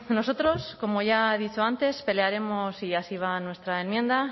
nosotros como ya he dicho antes pelearemos y así va en nuestra enmienda